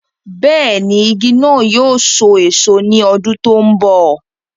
bẹ́ẹ̀ni, igi náà yóò so èso ní ọdún tó ń bọ̀